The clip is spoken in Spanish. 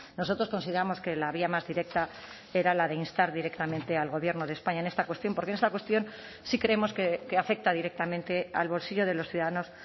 nosotros consideramos que la vía más directa era la de instar directamente al gobierno de españa en esta cuestión porque esta cuestión sí creemos que afecta directamente al bolsillo de los ciudadanos